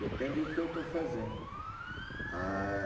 Depende o que eu estou fazendo, a